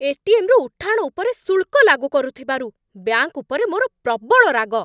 ATM. ରୁ ଉଠାଣ ଉପରେ ଶୁଳ୍କ ଲାଗୁ କରୁଥିବାରୁ ବ୍ୟାଙ୍କ ଉପରେ ମୋର ପ୍ରବଳ ରାଗ।